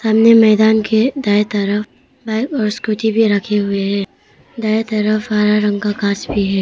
सामने मैदान के दाएं तरफ बाइक और स्कूटी भी रखे हुए है दाएं तरफ हरा रंग का घास भी है।